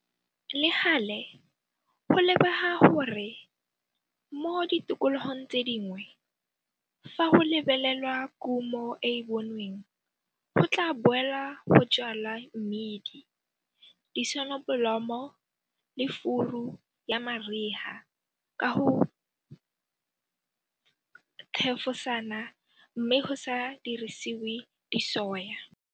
Le gale, go lebega gore mo ditikologong tse dingwe fa go lebelelwa kumo e e bonweng go tla boelwa go jwala mmidi, disonobolomo le furu ya mariga ka go thefosana mme go sa dirisiwe disoya.